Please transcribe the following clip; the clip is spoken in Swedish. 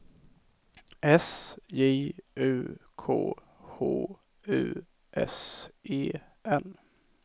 S J U K H U S E N